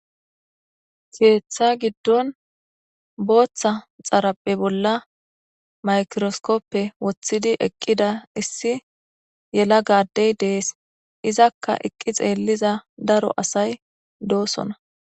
Keeththa giddon booththa xaraphe bolla maykiroskoppe woththidi eqqida issi yela gaaddey dees izakka iqqi xeelliza daro asay doosona.